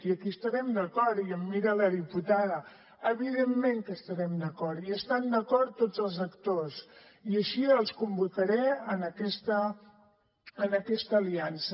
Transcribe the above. i aquí hi estarem d’acord i em mira la diputada evidentment que hi estarem d’acord hi estan d’acord tots els actors i així els convocaré en aquesta aliança